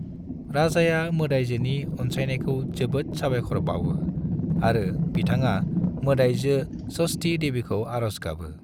राजाया मोदायजोनि अनसायनायखौ जोबोद साबायखर बावो आरो बिथङा मोदायजो षष्ठी देवीखौ आरस गाबो ।